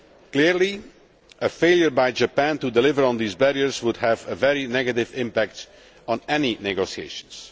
Clearly, a failure by Japan to deliver on these barriers would have a very negative impact on any negotiations.